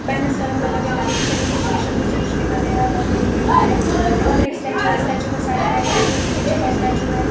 Banners का रंग अलग अलग है इन पर इंग्लिश के शब्दों से कुछ लिखा गया है बहुत बड़ी बिल्डिंग है ऊपर एक स्टैचू है स्टैचू के साइड में उसके ऊपर एक और स्टैचू है।